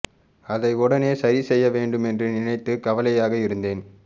அதை உடனே சரி செய்ய வேண்டும் என்று நினைத்து கவலையாக இருந்தேன்